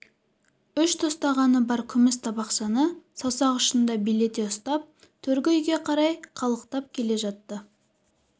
үш тостағаны бар күміс табақшаны саусақ ұшында билете ұстап төргі үйге қарай қалықтап келе жатты